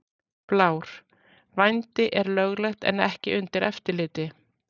Blár: Vændi er löglegt en ekki undir eftirliti.